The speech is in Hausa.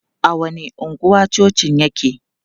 A wani anguwa cocin yake?